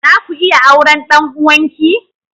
Zaku iya auren ɗan uwanki?